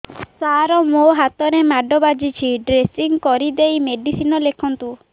ସାର ମୋ ହାତରେ ମାଡ଼ ବାଜିଛି ଡ୍ରେସିଂ କରିଦେଇ ମେଡିସିନ ଲେଖନ୍ତୁ